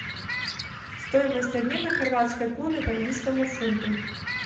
стоимость обмена хорватской куны к английскому фунту